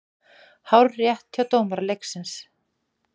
Hárrétt hjá dómara leiksins.